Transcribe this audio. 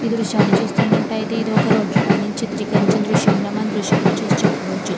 ఈ దృశ్యాన్ని చూస్తున్నట్టుయితే ఇదొక రోడ్రు పై నుంచి చిత్రీకరించిన దృష్యంలా మన దృశ్యంనీ చూసి చెప్పవచ్చు.